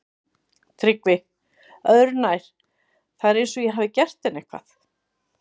TRYGGVI: Öðru nær, það er eins og ég hafi gert henni eitthvað.